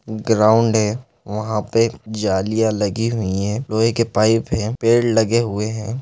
Ground है वहाँ पे जालियां लगी हुई है लोहे के पाइप है पेड़ लगे हुए हैं।